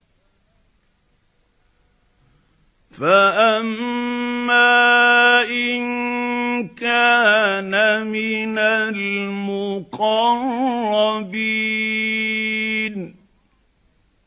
فَأَمَّا إِن كَانَ مِنَ الْمُقَرَّبِينَ